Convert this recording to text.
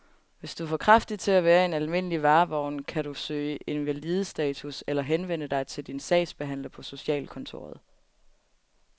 Hvis du er for kraftig til at være i en almindelig varevogn, kan du kan søge invalidestatus eller henvende dig til din sagsbehandler på socialkontoret.